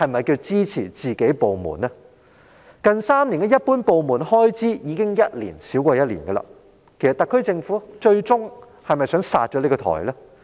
港台近3年的一般部門開支已逐年遞減，特區政府最終其實是否有意"殺掉"港台？